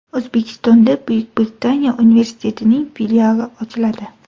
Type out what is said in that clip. O‘zbekistonda Buyuk Britaniya universitetining filiali ochiladi.